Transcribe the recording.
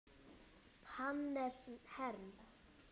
Hannes Herm.